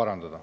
parandada.